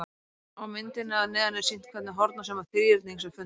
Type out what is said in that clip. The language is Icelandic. Á myndinni að neðan er sýnt hvernig hornasumma þríhyrnings er fundin.